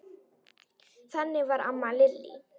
Þannig var amma Lillý.